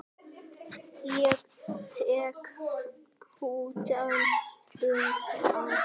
Ég tek utan um hana.